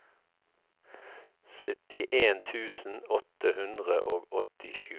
syttien tusen åtte hundre og åttisju